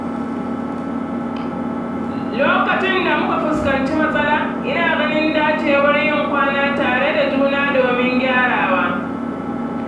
Lokacin da muka fuskanci matsala, ina ganin dacewar yin kwana tare da juna domin gyarawa.